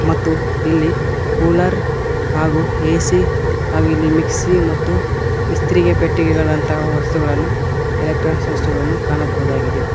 ಮತ್ತು ಇಲ್ಲಿ ಕೂಲರ್ ಹಾಗೂ ಎ_ಸಿ ಹಾಗೂ ಇಲ್ಲಿ ಮಿಕ್ಸಿ ಮತ್ತು ಇಸ್ತ್ರಿಗೆ ಪೆಟ್ಟಿಗೆಗಳಂತಹ ವಸ್ತುಗಳನ್ನು ಎಲೆಕ್ಟ್ರಾನ್ ವಸ್ತುಗಳನ್ನು ಕಾಣಬಹುದಾಗಿದೆ.